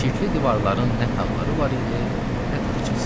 Çirkli divarların nə tağları var idi, nə taxçası.